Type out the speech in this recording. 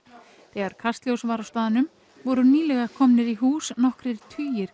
þegar Kastljós var á staðnum voru nýlega komnir í hús nokkrir tugir